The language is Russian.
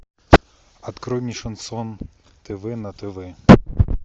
открой мне шансон тв на тв